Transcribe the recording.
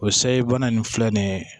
O sayi bana nin filɛ nin ye